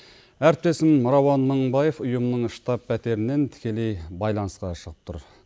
әріптесім рауан мыңбаев ұйымның штаб пәтерінен тікелей байланысқа шығып тұр